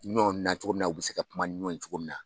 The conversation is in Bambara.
nacogo min na u bɛ se ka kuma ni ɲɔn ye cogo min na.